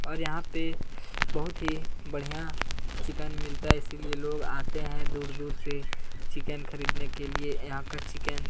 और यहाँ पे बहुत ही बढ़िया चिकन मिलता है इसलिए लोग आते हैं दूर-दूर से चिकन खरीदने के लिए यहाँ का चिकन --